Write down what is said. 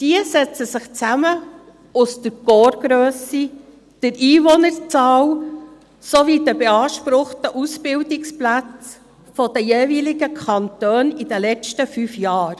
Diese setzen sich zusammen aus der Korpsgrösse, der Einwohnerzahl sowie der beanspruchten Ausbildungsplätze der jeweiligen Kantone während der letzten fünf Jahren.